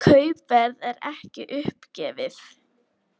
Kaupverð er ekki uppgefið.